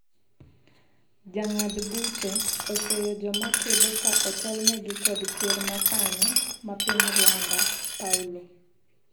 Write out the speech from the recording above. jong'ad buche oseyo joma kedo ka otelnegi kod ker ma sani ma piny Rwanda ,Paulo